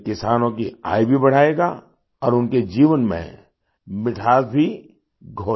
ये किसानों की आय भी बढ़ाएगा और उनके जीवन में मिठास भी घोलेगा